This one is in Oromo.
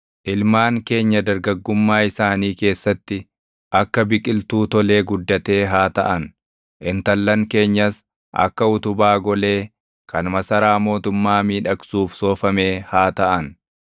Ilmaan keenya dargaggummaa isaanii keessatti, akka biqiltuu tolee guddatee haa taʼan; intallan keenyas akka utubaa golee, kan masaraa mootummaa miidhagsuuf // soofamee haa taʼan.